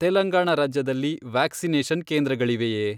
ತೆಲಂಗಾಣ ರಾಜ್ಯದಲ್ಲಿ ವ್ಯಾಕ್ಸಿನೇಷನ್ ಕೇಂದ್ರಗಳಿವೆಯೇ?